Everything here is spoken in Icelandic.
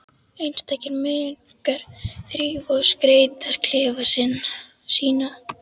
Einstakir munkar þrífa og skreyta klefa sína.